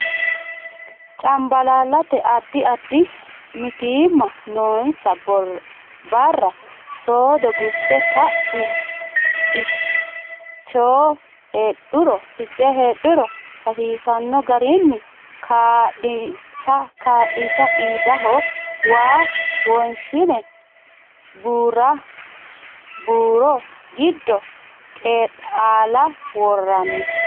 Cambalaallate Addi addi mitiimma noonsa barra soodo gunte ka ne finiinchoho heedhuro hasiisanno garinni kaa linsa qiidado waa wonshine bu ra buuro giddo Qeexaala worranni.